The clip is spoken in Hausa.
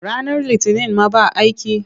Ranar Litinin ma ba aiki?